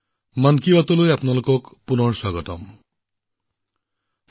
মন কী বাত অনুষ্ঠানলৈ আপোনালোকক পুনৰবাৰ স্বাগতম জনাইছো